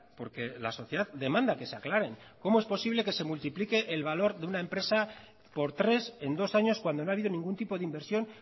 porque la sociedad demanda que se aclaren cómo es posible que se multiplique el valor de una empresa por tres en dos años cuando no ha habido ningún tipo de inversión